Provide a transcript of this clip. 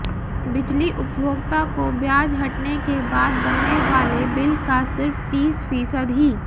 बिजली उपभोक्ता को ब्याज हटने के बाद बनने वाले बिल का सिर्फ तीस फीसद ही